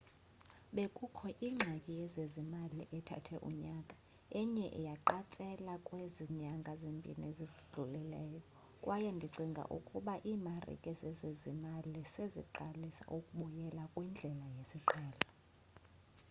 bekukho ingxaki yezezimali ethathe unyaka eye yaqatsela kwezi nyanga zimbini zidlulileyo kwaye ndicinga ukuba iimarike zezezimali seziqalisa ukubyela kwindlela yesiqhelo